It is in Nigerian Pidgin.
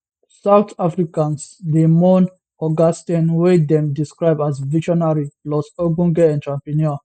south africans dey mourn oga steyn wey dem describe as visionary plus ogbonge entrepreneur